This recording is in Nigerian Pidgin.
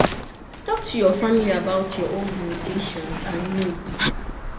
talk to your family about your own limitations and needs